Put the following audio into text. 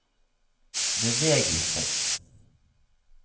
bevegelse